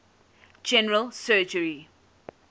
general surgery